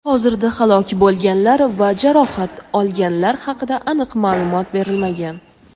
Hozirda halok bo‘lganlar va jarohat olganlar haqida aniq ma’lumot berilmagan.